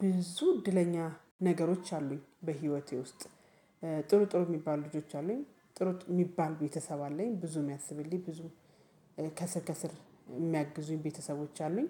ብዙ እድለኛ ነገሮች አሉኝ በህይወቴ ውስጥ። ጥሩ ጥሩ የሚባል ልጆች አሉኝ። ጥሩ የሚባል ቤተሰብ አለኝ። ብዙ የሚያስብልኝ ብዙ ከስር ከስር የሚያግዙኝ ቤተሰቦች አሉኝ።